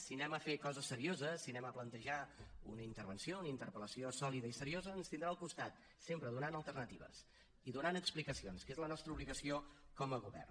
si anem a fer coses serioses si anem a plantejar una intervenció una interpel·lació sòlida i seriosa ens tindrà al costat sempre donant alternatives i donant explicacions que és la nostra obligació com a govern